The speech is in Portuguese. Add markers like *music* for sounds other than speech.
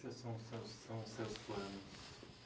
*unintelligible* Sãos os seus, são os seus planos?